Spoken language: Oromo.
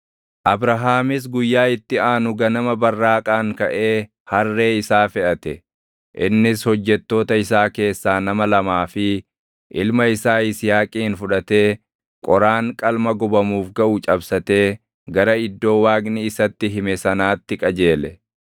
Abrahaamis guyyaa itti aanu ganama barraaqaan kaʼee harree isaa feʼate. Innis hojjettoota isaa keessaa nama lamaa fi ilma isaa Yisihaaqin fudhatee qoraan qalma gubamuuf gaʼu cabsatee gara iddoo Waaqni isatti hime sanaatti qajeele.